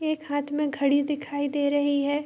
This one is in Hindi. एक हाथ में घड़ी दिखाई दे रही है।